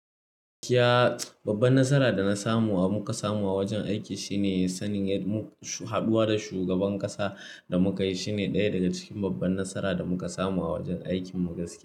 Gaskiya babban nasara da na samu da muka samu a wajen aiki shine sanin mu haɗuwa da shugaban ƙasa da muka yi. Shine ɗaya daga cikin babban nasara da muka samu a wajen aikin mu gaskiya.